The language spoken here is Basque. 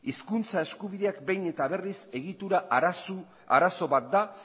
hizkuntza eskubideak behin eta berriz egitura arazo bat da